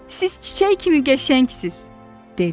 Siz çiçək kimi qəşəngsiniz! dedi.